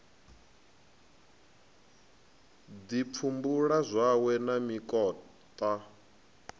ḓi pfumbula zwawe na mikoṱa